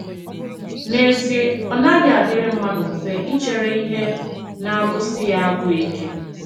N’ezie, ọ naghị adịrị mmadụ mfe ichere ihe na - agụsi ya agụụ ike.